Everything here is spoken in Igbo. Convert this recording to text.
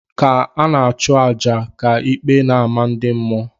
Ka ana achu aja ka íkpè n' ama ndị mmụọ.